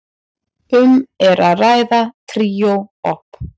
Um er að ræða tríó op.